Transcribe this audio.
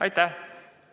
Aitäh!